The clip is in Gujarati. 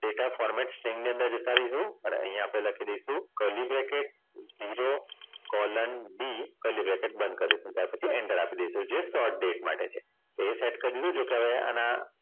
Data format string ની અંદર જતા રઈશુ અને અહીંયા આપણે લખી દઈશું બંધ કરી દઈશું ત્યાર પછી enter આપી દઈશું જે Short Date માટે છે. તે said